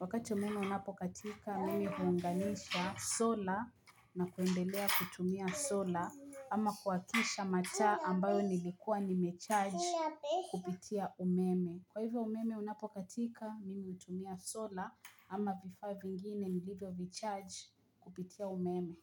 Wakati umeme unapokatika, mimi huunganisha sola na kuendelea kutumia sola ama kuwakisha mataa ambayo nilikuwa nimecharge kupitia umeme. Kwa hivyo umeme unapokatika, mimi hutumia sola ama vifaa vingine nilivyo vicharge kupitia umeme.